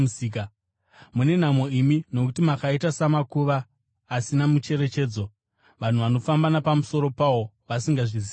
“Mune nhamo imi, nokuti makaita samakuva asina mucherechedzo, vanhu vanofamba napamusoro pawo vasingazvizivi.”